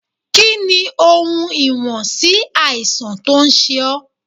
Kí ni ohun ìwọ̀n sí àìsàn tó ń ṣe ó?